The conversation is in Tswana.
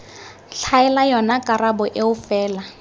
tlhaela yona karabo eo fela